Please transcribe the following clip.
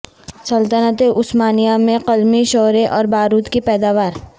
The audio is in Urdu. سلطنت عثمانیہ میں قلمی شورے اور بارود کی پیداوار